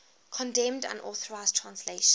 condemned unauthorized translations